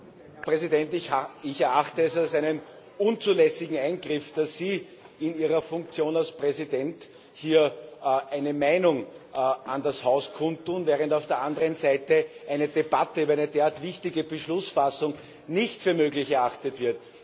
Herr Präsident! Ich erachte es als einen unzulässigen Eingriff, dass Sie in Ihrer Funktion als Präsident hier eine Meinung an das Haus kundtun, während auf der anderen Seite eine Debatte über eine derart wichtige Beschlussfassung nicht für möglich erachtet wird.